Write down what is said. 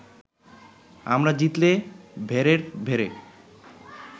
আমরা জিতলে ভেড়ের ভেড়ে